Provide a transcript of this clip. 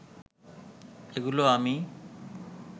এগুলো আমি